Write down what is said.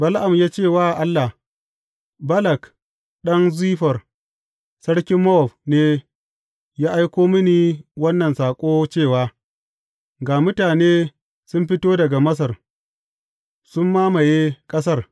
Bala’am ya ce wa Allah, Balak ɗan Ziffor, sarkin Mowab ne, ya aiko mini wannan saƙo cewa, Ga mutane sun fito daga Masar sun mamaye ƙasar.